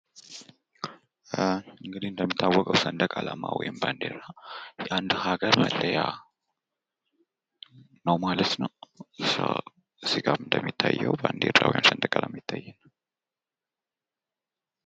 እንግዲህ እንደሚታወቀው ሰንደቅ አላማ ወይም ባንዲራ የአንድ ሃገር መለያ ነው ማለት ነው። እዚህ ጋር እንደሚታየው ባንዲራው ወይም ሰንደቅ አላማው ይታየኛል።